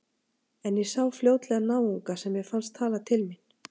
En ég sá fljótlega náunga sem mér fannst tala til mín.